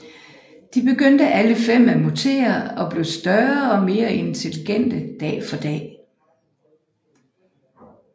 De begyndte alle fem at mutere og blev større og mere intelligente dag for dag